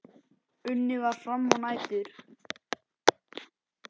Unnið var fram á nætur.